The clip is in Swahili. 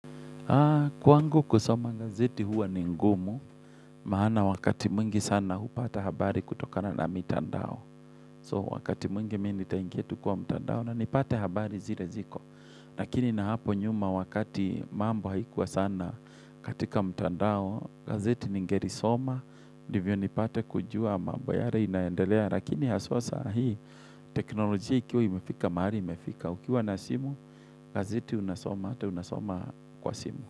Kwangu kusoma gazeti huwa ni ngumu, maana wakati mwingi sana hupata habari kutokana na mitandao. So wakati mwingi mimi nitaingia kwa mitandao na nipate habari zire ziko. Lakini na hapo nyuma wakati mambo haikuwa sana katika mitandao, gazeti ningeri soma. Ndivyo nipate kujua mambo yare inaendelea. Lakini haswa sahii, teknolojia ikiwa imefika, mahali imefika. Ukiwa na simu, gazeti unasoma, ata unasoma kwa simu.